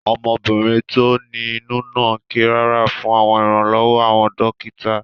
Ọmọbìnrin tó ní inú náà ké rárá fún iranlowo àwọn dókítà